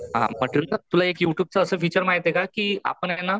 हा म्हंटल तुला एक यु ट्यूबच असं एक फिचर माहितीये का कि आपण ए ना